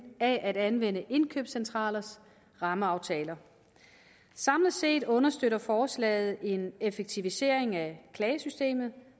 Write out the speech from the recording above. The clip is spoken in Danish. at anvende indkøbscentralers rammeaftaler samlet set understøtter forslaget en effektivisering af klagesystemet